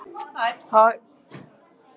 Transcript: Gerðar, hvað er í dagatalinu mínu í dag?